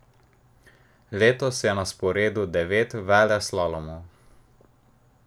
Letos je na sporedu devet veleslalomov.